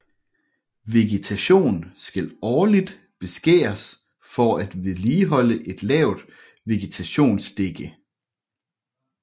Vegetation skal årligt beskæres for at vedligeholde et lavt vegetationsdække